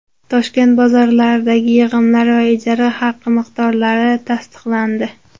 Toshkent bozorlaridagi yig‘imlar va ijara haqi miqdorlari tasdiqlandi.